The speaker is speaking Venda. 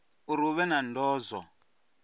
uri hu vhe na ndozwo